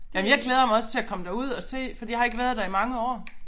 Ej men jeg glæder mig også til at komme derud og se fordi jeg har ikke været der i mange år